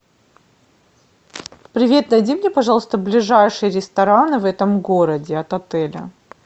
привет найди мне пожалуйста ближайшие рестораны в этом городе от отеля